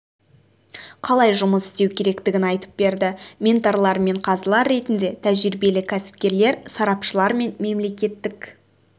қалай жұмыс істеу керектігін айтып берді менторлар мен қазылар ретінде тәжірибелі кәсіпкерлер сарапшылар мен мемлекеттік